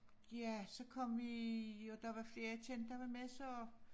Ja så kom vi og der var flere jeg kendte der var med så